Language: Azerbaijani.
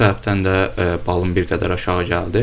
Bu səbəbdən də balım bir qədər aşağı gəldi.